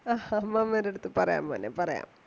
ആ അമ്മമ്മേടടുത്ത് പറയാം മോനെ പറയാം.